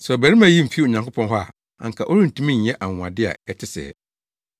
sɛ ɔbarima yi mfi Onyankopɔn hɔ a anka ɔrentumi nyɛ anwonwade a ɛte sɛɛ.”